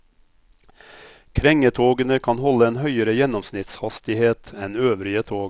Krengetogene kan holde en høyere gjennomsnittshastighet enn øvrige tog.